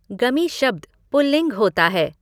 गमि शब्द पुल्लिंग होता है।